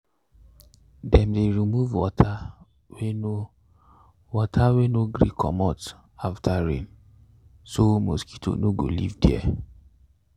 dem dey remove water way no water way no gree comot after rain so mosquito no go live there